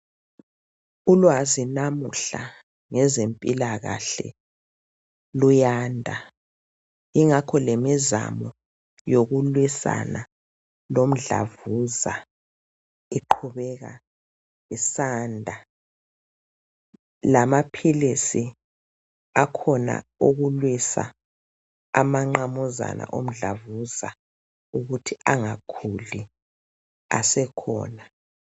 Ulwazi namuhla, ngezempilakahle, luyanda. Ingakho lemizamo yokulwisana lomdlavuza iqhubeka isanda, lamaphilisi akhona okulwisa amanqamuzana omdlavuza ukuthi angakhuli asekhona.